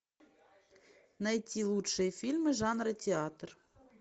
найти лучшие фильмы жанра театр